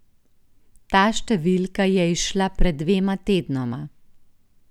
Ta številka je izšla pred dvema tednoma.